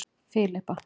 Filippa